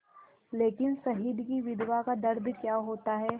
लेकिन शहीद की विधवा का दर्द क्या होता है